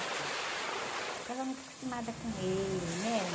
Estava muito acostumada com ele, né?